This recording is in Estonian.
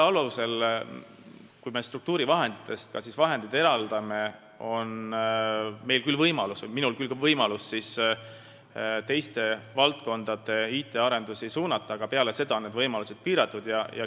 Kui me struktuurifondidest ka selleks tööks vahendeid eraldame, siis on minul küll võimalik ka teiste valdkondade IT-arendusi suunata, aga üldiselt on need võimalused piiratud.